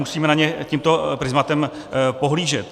Musíme na ně tímto prizmatem pohlížet.